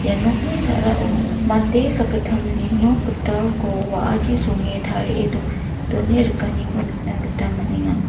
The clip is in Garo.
ia nokni sa·rao mande sakgittamni nok gitalko wa·achi songe tarie done rikaniko nikna gita man·enga.